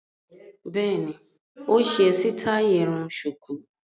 Bẹ́ẹ̀ni, ó ṣe sítáì irun ṣùkú.